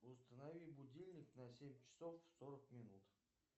установи будильник на семь часов сорок минут